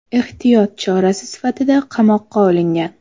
Ehtiyot chorasi sifatida qamoqqa olingan.